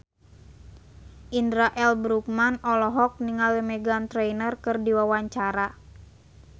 Indra L. Bruggman olohok ningali Meghan Trainor keur diwawancara